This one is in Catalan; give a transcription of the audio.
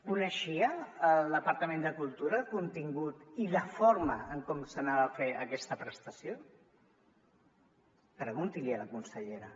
coneixia el departament de cultura el contingut i la forma com es faria aquesta prestació pregunti l’hi a la consellera